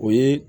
O ye